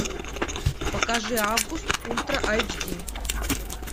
покажи август ультра айч ди